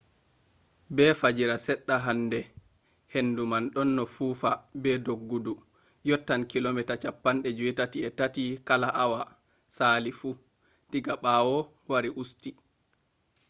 be fajira seɗɗa hande hendu man ɗonno fufa be doggudu yottan kilomita 83 kala hawa sali fu diga ɓawo wari usti